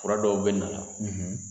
Fura dɔw bɛ na la